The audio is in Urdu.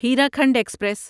ہیراکھنڈ ایکسپریس